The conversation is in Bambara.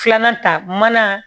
Filanan ta mana